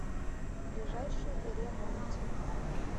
ближайший ре монти